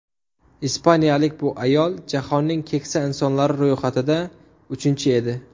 Ispaniyalik bu ayol jahonnning keksa insonlari ro‘yxatida uchinchi edi.